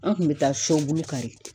An kun bi taa sɔbulu kari